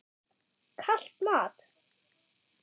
Kalt mat?